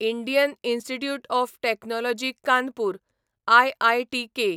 Indian Institute of Technology Kanpur आयआयटीके